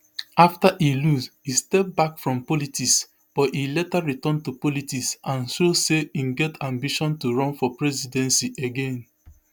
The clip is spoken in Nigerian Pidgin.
afta e lose e step back from politics but e later return to politics and show say im get ambition to run for presidency again